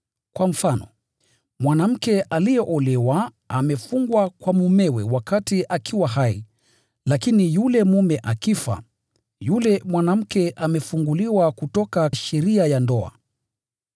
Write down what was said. Kwa mfano, mwanamke aliyeolewa amefungwa kwa mumewe wakati akiwa hai, lakini yule mume akifa, yule mwanamke amefunguliwa kutoka sheria ya ndoa.